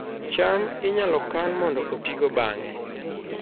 cham inyalo kan mondo otigo bang'e